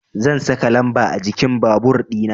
Zan saka lamba a jikin babur dina